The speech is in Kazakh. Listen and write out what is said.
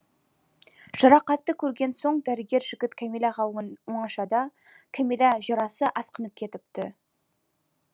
жарақатты қөрген соң дәрігер жігіт кәмиләға оңашада кәмилә жарасы асқынып кетіпті